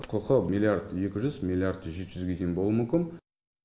құқы миллиард екі жүз миллиард жеті жүзге дейін болуы мүмкін